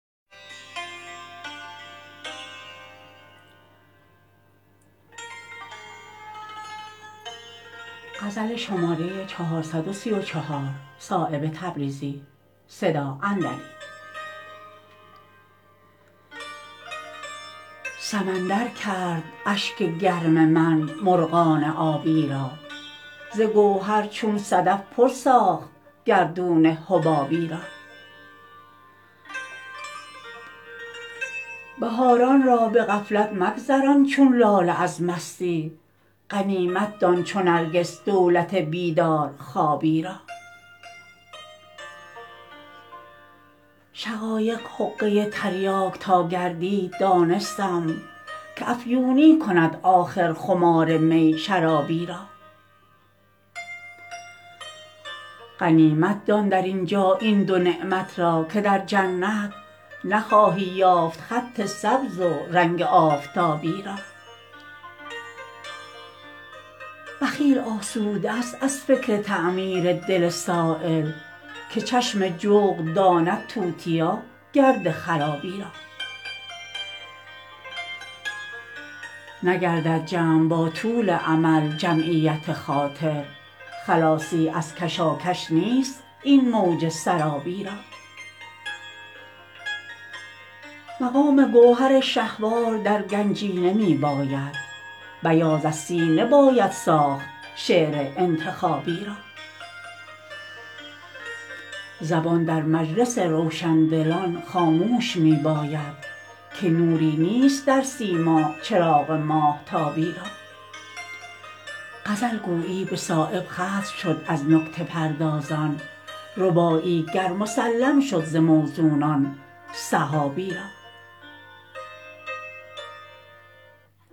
سمندر کرد اشک گرم من مرغان آبی را ز گوهر چون صدف پر ساخت گردون حبابی را بهاران را به غفلت مگذران چون لاله از مستی غنیمت دان چو نرگس دولت بیدار خوابی را شقایق حقه تریاک تا گردید دانستم که افیونی کند آخر خمار می شرابی را غنیمت دان در اینجا این دو نعمت را که در جنت نخواهی یافت خط سبز و رنگ آفتابی را بخیل آسوده است از فکر تعمیر دل سایل که چشم جغد داند توتیا گرد خرابی را نگردد جمع با طول امل جمعیت خاطر خلاصی از کشاکش نیست این موج سرابی را مقام گوهر شهوار در گنجینه می باید بیاض از سینه باید ساخت شعر انتخابی را زبان در مجلس روشندلان خاموش می باید که نوری نیست در سیما چراغ ماهتابی را غزل گویی به صایب ختم شد از نکته پردازان رباعی گر مسلم شد ز موزونان سحابی را